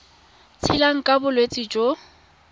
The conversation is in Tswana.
tshelang ka bolwetsi jo bo